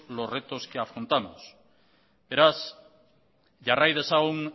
los retos que afrontamos beraz jarrai dezagun